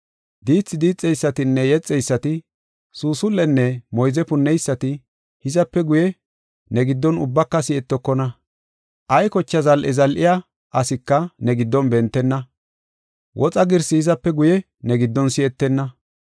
Diithi diixeysatinne yexeysati, suusul7enne moyze punneysati, hizape guye ne giddon ubbaka si7etokona. Ay kocha zal7e zal7iya asika ne giddon bentenna. Woxa girsi hizape guye ne giddon si7etenna.